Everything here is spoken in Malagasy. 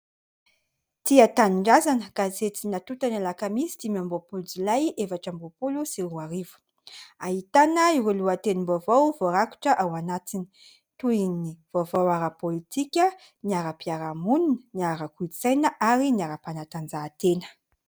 Tia tanindrazana, gazety natota ny alakamisy dimy amby roapolo jolay, efatra amby roa-polo sy roa arivo; ahitana ireo lohateny vaovao vorakotra ao anatiny, toy ny vaovao ara-politika, ny ara-mpiaramonina, ny ara-kolontsaina ary ny ara-mpanatanjahatena.